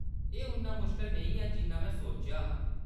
एह्‌‌ उन्ना मुश्कल नेईं ऐ जिन्ना में सोचेआ हा।